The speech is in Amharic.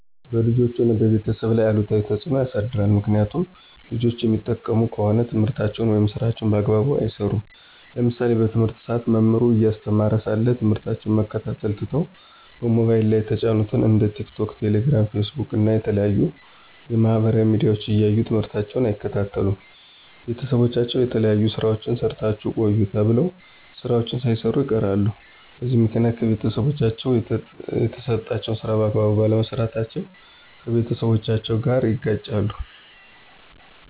በልጆች ሆነ በቤተሰብ ላይ አሉታዊ ተፅዕኖ ያሳድራል። ምክኒያቱም ልጆች የሚጠቀሙ ከሆነ ትምህርታቸውን ወይም ስራቸውን በአግባቡ አይሰሩም። ለምሳሌ በትምህርት ሰአት መምህሩ እያስተማረ ሳለ ትምህርታቸውን መከታተል ትተው በሞባይል ላይ የተጫኑትን እንደ ቲክቶክ፣ ቴሌግራም፣ ፌስቡክ እና የተለያዩ የማህበራዊ ሚዲያዎች እያዩ ትምህርታቸውን አይከታተሉም። ቤተሰቦቻቸው የተለያዩ ስራዎችን ሰርታችሁ ቆዩ ተብለው ስራዎችን ሳይሰሩ ይቀራሉ። በዚህ ምክኒያት ከቤተሰቦቻቸው የተሰጣቸውን ስራ በአግባቡ ባለመስራታቸው ከቤተሰቦቻቸው ጋር ይጋጫሉ።